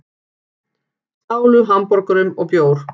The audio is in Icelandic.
Stálu hamborgurum og bjór